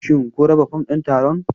Shin kun raba fom ɗin taron?